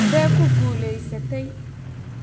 Sidee ku guulaysatay?